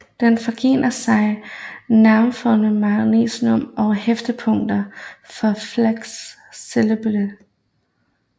Den forgrener sig nær foramen magnum og har hæftepunkt for falx cerebelli